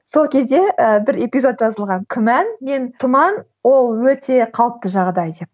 сол кезде і бір эпизод жазылған күмән мен тұман ол өте қалыпты жағдай деп